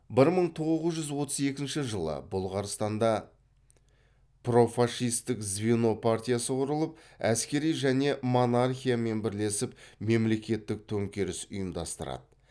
бір мың тоғыз жүз отыз екінші жылы бұлғарстанда профашистік звено партиясы құрылып әскери және монархиямен бірлесіп мемлекеттік төңкеріс ұйымдастырады